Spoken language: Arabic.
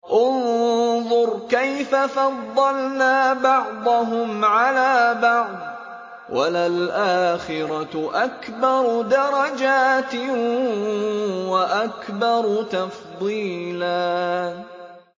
انظُرْ كَيْفَ فَضَّلْنَا بَعْضَهُمْ عَلَىٰ بَعْضٍ ۚ وَلَلْآخِرَةُ أَكْبَرُ دَرَجَاتٍ وَأَكْبَرُ تَفْضِيلًا